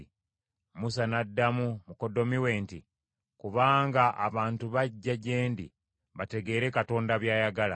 Musa n’addamu mukoddomi we nti, “Kubanga abantu bajja gye ndi bategeere Katonda by’ayagala.